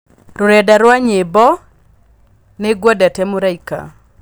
Rũrenda rwa nyĩmbo Nĩ ngwendete mũraika